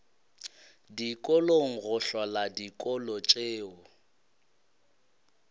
dikolong go hlola dikolo tšeo